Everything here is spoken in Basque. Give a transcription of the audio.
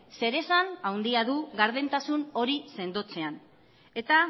zeresan handia du gardentasun hori sendotzean eta